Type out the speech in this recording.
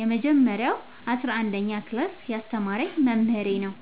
የመጀረሻው አስረአንደኛ ክላስ ያስተማረኝ መምህሬ ነው።